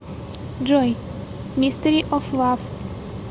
джой мистери оф лав